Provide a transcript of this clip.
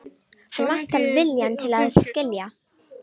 Hann vantar viljann til að skilja.